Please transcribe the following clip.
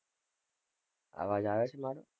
આવાજ આવે છે મારો.